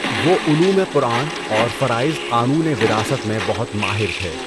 وہ علوم قرآن اور فرائض قانونِ وراثت میں بہت ماہر تھے۔